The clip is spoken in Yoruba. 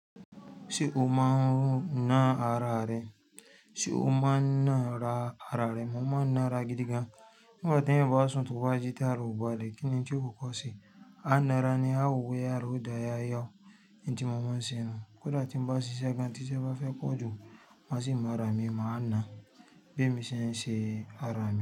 Ṣé o máa ń ná ara rẹ? Ṣé o máa ń ná ra ara rẹ? Mo máa ń ná ara gidi gan. Nígbà tí èèyan bá sùn to wá jí tara o balẹ kínní n tí ó kọkọ se, a ná ra ní a wo boya àrá òdà yá yá. N tí mo máa ń ṣe nu. Kódà tí ń bá ṣiṣẹ́ gan, tí ṣẹ́ bá fẹ́ pọ ju, maa sì máa rà mí, mà á ná bí èmi ṣe ń ṣe ara mi.